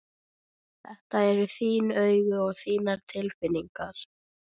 Skólastjórinn var alvarlegur þegar hann bauð þeim inn.